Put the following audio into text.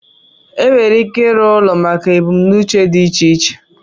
enwere ike ịrụ ụlọ maka ebumnuche dị iche iche